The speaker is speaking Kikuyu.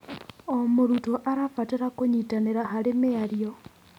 O mũrutwo arabatara kũnyitanĩra harĩ mĩario.